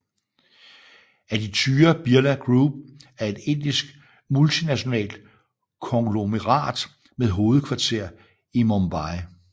Aditya Birla Group er et indisk multinationalt konglomerat med hovedkvarter i Mumbai